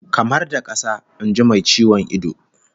Kamar da kasa, in ji mai ciwon ido